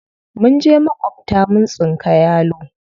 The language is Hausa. Mun je maƙwabta mun tsinka yalo.